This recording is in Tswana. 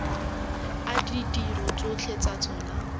a ditiro tsotlhe tsa tsona